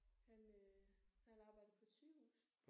Han øh han arbejder på et sygehus